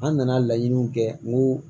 An nana laɲiniw kɛ ko